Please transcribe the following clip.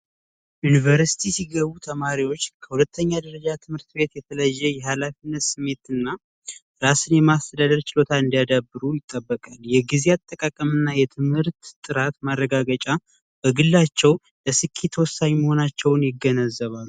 ዩኒቨርስቲ ሲገቡ ተማሪዎች ከሁለተኛ ደረጃ ትምህርት ቤት የተለያየ የሀላፊነት ስሜት እና ራስን የማስተዳደር ችሎታ እንዲያዳብሩ ይጠበቃል። የጊዜ አጠቃቀም እና የትምህርት ጥራት ማረጋገጫ በግላቸው ለስኬት ወሳኝ መሆናቸውን ይገነዘባሉ።